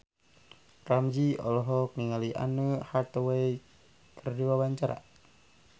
Ramzy olohok ningali Anne Hathaway keur diwawancara